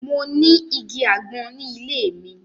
Mo ni igi agbọn ni ile mi.